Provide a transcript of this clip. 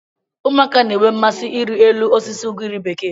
Ụmụaka na-enwe mmasị ịrị elu osisi ugiri bekee.